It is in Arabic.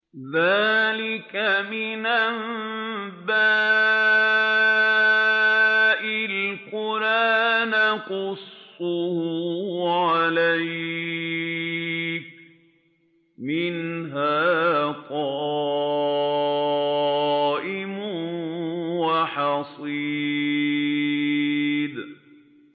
ذَٰلِكَ مِنْ أَنبَاءِ الْقُرَىٰ نَقُصُّهُ عَلَيْكَ ۖ مِنْهَا قَائِمٌ وَحَصِيدٌ